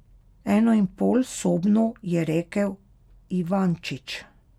Enoinpolsobno, je rekel Ivančič.